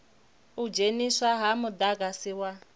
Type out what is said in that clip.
u dzheniswa ha mudagasi wa